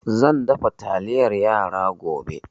Zan dafa taliyar yara gobe